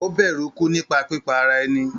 Ó bẹ̀rù ikú nípa pípa ara ẹni.